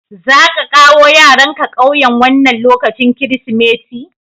Za ƙa kawo yaranka ƙauyen wannan lokacin Kirsimeti?